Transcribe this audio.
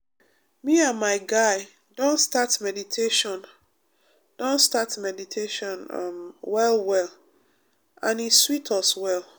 me and my guy don start meditation don start meditation um well well and e sweet us well.